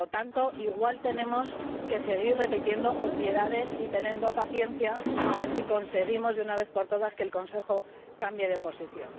por lo tanto, igual tenemos que seguir repitiendo obviedades y teniendo paciencia a ver si conseguimos de una vez por todas que el Consejo cambie de posición.